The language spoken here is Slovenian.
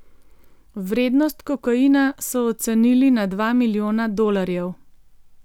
Vrednost kokaina so ocenili na dva milijona dolarjev.